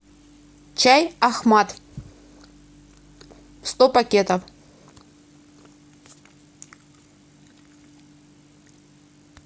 чай ахмат сто пакетов